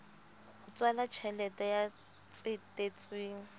h tswala tjheleteng ya tsetetsweng